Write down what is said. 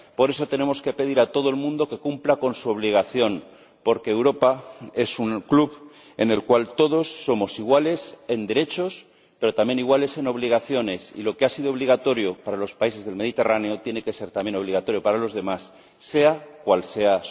Por eso, tenemos que pedir a todo el mundo que cumpla con su obligación, porque Europa es un club en el cual todos somos iguales en derechos, pero también iguales en obligaciones y lo que ha sido obligatorio para los países del Mediterráneo tiene que ser también obligatorio para los demás, sea cual sea